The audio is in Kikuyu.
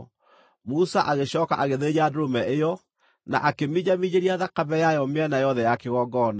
Musa agĩcooka agĩthĩnja ndũrũme ĩyo, na akĩminjaminjĩria thakame yayo mĩena yothe ya kĩgongona.